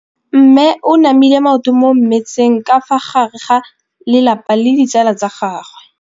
Mme o namile maoto mo mmetseng ka fa gare ga lelapa le ditsala tsa gagwe.